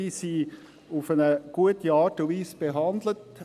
Diese wurden auf eine gute Art und Weise behandelt.